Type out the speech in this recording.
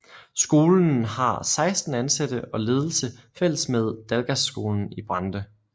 Skolen har 16 ansatte og ledelse fælles med Dalgasskolen i Brande